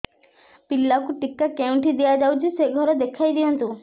ପିଲାକୁ ଟିକା କେଉଁଠି ଦିଆଯାଉଛି ସେ ଘର ଦେଖାଇ ଦିଅନ୍ତୁ